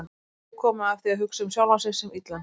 Nóg komið af því að hugsa um sjálfan mig sem illan.